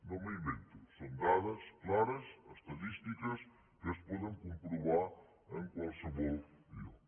no m’ho invento són dades clares estadístiques que es poden comprovar en qualsevol lloc